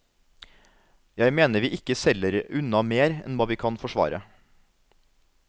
Jeg mener vi ikke selger unna mer enn hva vi kan forsvare.